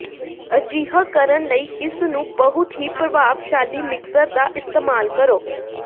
ਅਜਿਹਾ ਕਰਨ ਲਈ ਇਸ ਨੂੰ ਬਹੁਤ ਹੀ ਪ੍ਰਭਾਵਸ਼ਾਲੀ ਮਿਕਸਰ ਦਾ ਇਸਤੇਮਾਲ ਕਰੋ